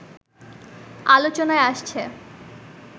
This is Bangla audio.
আলোচনায় আসছে